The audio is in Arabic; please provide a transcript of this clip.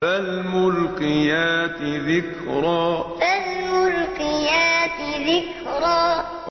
فَالْمُلْقِيَاتِ ذِكْرًا فَالْمُلْقِيَاتِ ذِكْرًا